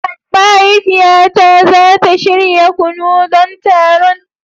Mahaifiyata za ta shirya kunu don taron.